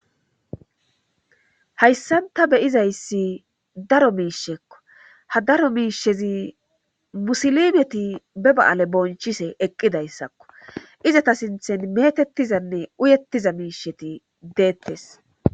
hayssanta be'izayssi daro miishekko ha daro miishezi musilimeti be ba7ale bonchise eqqidayssakko izata sinthen metettizanne uyettiza miisheti deettes